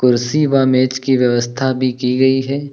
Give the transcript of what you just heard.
कुर्सी व मेज की व्यवस्था भी की गई है।